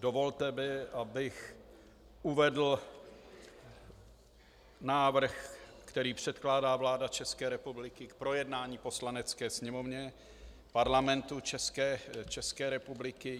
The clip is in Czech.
dovolte mi, abych uvedl návrh, který předkládá vláda České republiky k projednání Poslanecké sněmovně Parlamentu České republiky.